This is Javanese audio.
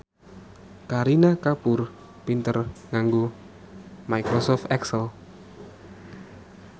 Kareena Kapoor pinter nganggo microsoft excel